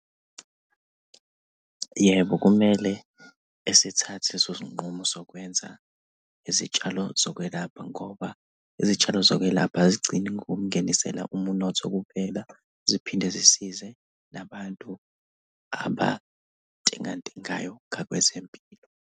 Yebo, kumele esithathe leso sinqumo sokwenza izitshalo zokwelapha ngoba izitshalo zokwelapha azigcini gokukungenisela umnotho kuphela. Ziphinde zisize nabantu abantengantengayo ngakwezempilo.